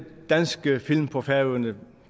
danske film på færøerne